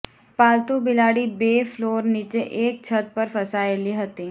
પાલતૂ બિલાડી બે ફ્લોર નીચે એક છત પર ફસાયેલી હતી